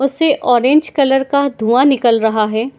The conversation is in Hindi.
उस से ऑरेंज कलर का धुंआ निकल रहा है।